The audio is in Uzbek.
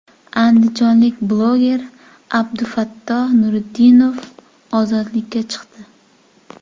Andijonlik bloger Abdufatto Nuritdinov ozodlikka chiqdi.